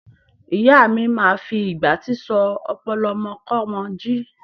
Ìyáa mi máa fi ìgbátí sọ ọpọlọ ọmọkọ́mọ jí.